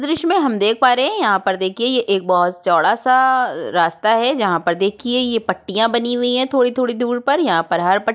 दृश्य हम देख पा रहे हैं यहाँ पर देखिये ये एक बहौत चौड़ा सा रास्ता है जहाँ पर देखिये ये पट्टियाँ बनी हुई हैं थोड़ी-थोड़ी दूर पर यहाँ पर हर पट --